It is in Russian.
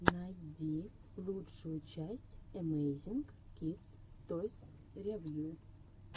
найди лучшую часть эмейзинг кидс тойс ревью